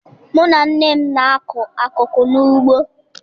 Mụ na nne m na-akụ akụkụ n'ugbo.